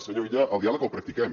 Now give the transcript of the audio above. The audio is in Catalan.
senyor illa el diàleg el practiquem